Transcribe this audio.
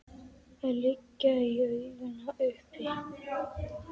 að liggja í augum uppi.